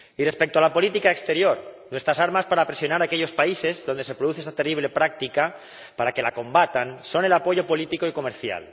Y respecto a la política exterior, nuestras armas para presionar a aquellos países donde se produce esa terrible práctica para que la combatan son el apoyo político y comercial.